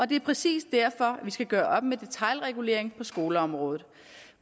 det er præcis derfor at vi skal gøre op med detailregulering på skoleområdet